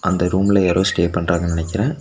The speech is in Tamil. அந்த ரூம்ல யாரோ ஸ்டே பண்றாங்கன்னு நெனைக்கறே.